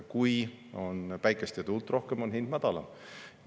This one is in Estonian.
Kui on päikest ja tuult rohkem, on hind madalam.